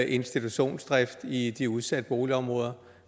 institutionsdrift i de udsatte boligområder